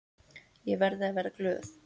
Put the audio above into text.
Ég verði að vera glöð.